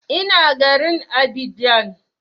Ina garin Abidjan